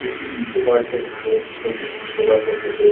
এটি নিকো পার্ক -এর ভিতরের ছবি | নিকো পার্ক -এর ভিতর --